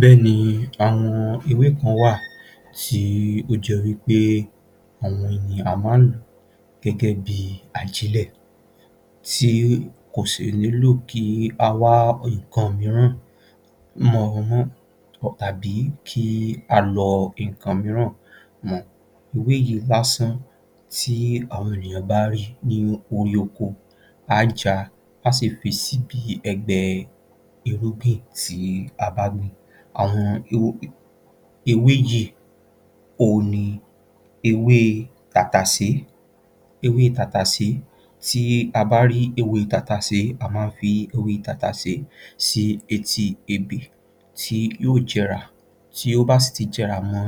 Bẹ́ẹ̀ ni, àwọn ewé kan wá à tí ó jẹ́ wí pé àwọn ènìyàn máa ń lò ó gẹ́gẹ́ bí ajílẹ̀ tí kò sì nílò kí a wá nǹkan mìíràn mọ́ wọn mọ́ tàbí kí a lọ nǹkan mìíràn mọ, ewé yìí lásán tí àwọn ènìyàn bá rí ní orí oko, a á ja, a á sì fi síbi ẹgbẹ́ irúgbìn tí a bá gbìn, àwọn ewé yìí òhun ni ewé tàtàsé. Ewé tàtàsé, tí a bá rí ewé tàtàsé a má ń fi ewé sétí ebè tí yóò jẹrà, tí ó bá sì ti jẹrà mọ́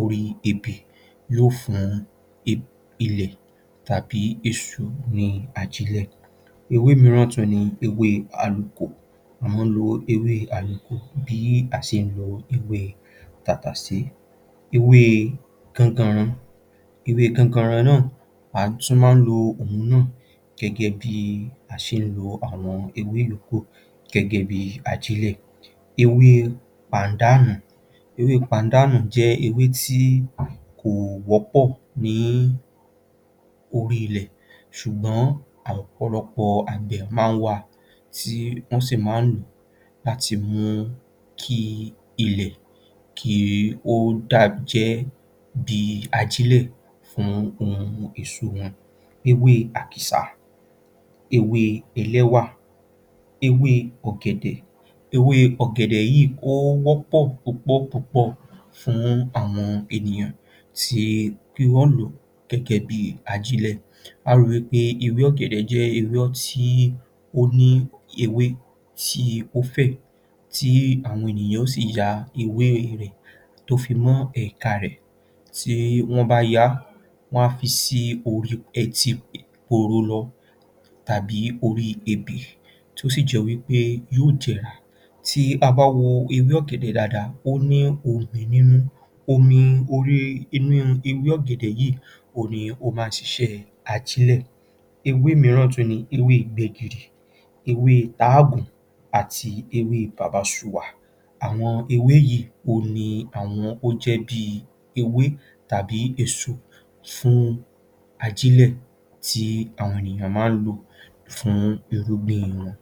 orí ebè yóò fún ilẹ̀ tàbí èsú ní ajílẹ̀. Ewé mìíràn tún ni ewé àlukò, a máa ń lo ewé àlukò bí a ṣe ń lo ewé tàtàsé. Ewée ganganran, ewée ganganran náà, a tún máa ń lo òhun náà gẹ́gẹ́ bí a ṣe ń lo àwọn ewé yòókù gẹ́gẹ́ bí ajílẹ̀. Ewéé pàńdànù, ewée pàńdànù jẹ́ ewé tí kò wọ́pọ̀ ní orílẹ̀ ilẹ̀, ṣùgbọ́n ọ̀pọ̀lọpọ̀ àgbẹ̀ máa ń wa ti wọ́n sì máa láti mú kí ilẹ̀ kí ó dà, jẹ́ bí ajílẹ̀ fún ohun èso wọn. Ewé akìsà, ewé ẹlẹ́wà, ewé ọ̀gẹ̀dẹ̀. Ewé ọ̀gẹ̀dẹ̀ yìí ó wọ́pọ̀ púpọ̀ fún àwọn ènìyàn kí wọ́n lò ó gẹ́gẹ́ bí ajílẹ̀ a ó ri wí pé ewé ọ̀gẹ̀dẹ̀ jẹ́ ewé tí ó ní ewé tí ó fẹ̀ tí àwọn ènìyàn yóò si ya ewé rẹ̀ tó fi mọ́ ẹ̀ka rẹ̀, tí wọ́n bá ya á, wọ́n a fi sí orí, etí poro lọ tàbí orí ebè tó sì jẹ́ wí pé yóò jẹrà, tí a bá wo ewé ọ̀gẹ̀dẹ̀ dáadáa ó ní omi nínú, omi orí inú ewé ọ̀gẹ̀dẹ̀ yìí ni ó máa ń siṣẹ́ ajílẹ̀. Ewé mìíràn ni ewé gbẹ́gìrì, ewée páàgùn àti ewé bàbásuà, àwọn ewé yìí ni àwọn ó jẹ́ bí ewé tàbí èso fún ajílẹ̀ tí àwọn ènìyàn máa ń lò fún irúgbìn wọn.